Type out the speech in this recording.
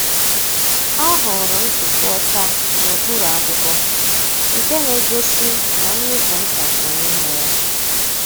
O hụrụ ntupu ọcha n’okpuru akwụkwọ, nke na-egosi na Mmịkụ nta nọ n’ime ya.